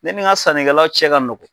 Ne ni n ka sannikɛlaw cɛ ka nɔgɔ.